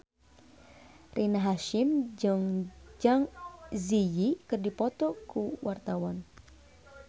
Rina Hasyim jeung Zang Zi Yi keur dipoto ku wartawan